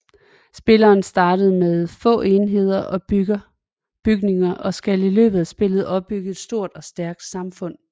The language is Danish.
Spilleren starter med få enheder og bygninger og skal i løbet af spillet opbygge et stort og stærkt samfund